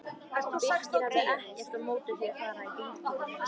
Birkir hafði ekkert á móti því að fara í bíltúr.